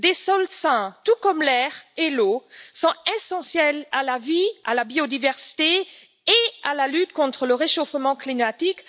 Des sols sains, tout comme l'air et l'eau, sont essentiels à la vie, à la biodiversité et à la lutte contre le réchauffement climatique.